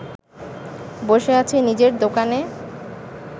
বসে আছে নিজের দোকানে